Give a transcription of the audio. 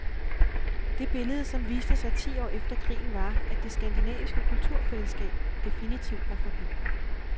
Det billede som viste sig ti år efter krigen var, at det skandinaviske kulturfællesskab definitivt var forbi.